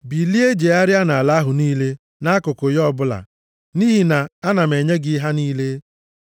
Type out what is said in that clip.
Bilie jegharịa nʼala ahụ niile nʼakụkụ ya ọbụla, nʼihi na ana m enye gị ha niile.”